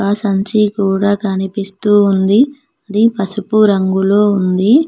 సంచి కూడా కనిపిస్తూ ఉంది ఇది పసుపు రంగులో ఉంది.